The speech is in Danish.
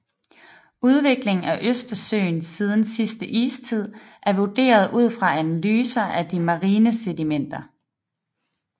Udviklingen af Østersøen siden sidste istid er vurderet ud fra analyser af de marine sedimenter